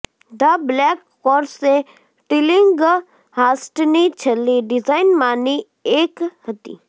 the black course એ ટિલિંગહાસ્ટની છેલ્લી ડિઝાઇનમાંની એક હતી